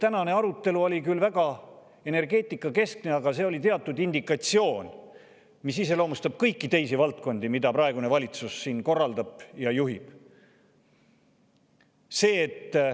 Tänane arutelu oli küll väga energeetikakeskne, aga see oli teatud indikatsioon, mis iseloomustab kõiki teisi valdkondi, mida praegune valitsus korraldab ja juhib.